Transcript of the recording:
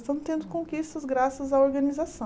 Estamos tendo conquistas graças à organização.